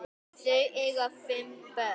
Þau eiga fimm börn